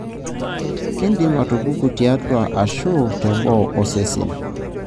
kindim atupuku tiatua ashu teboo osesen.